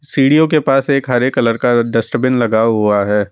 सीढ़ियों के पास एक हरे कलर का डस्टबिन लगा हुआ है।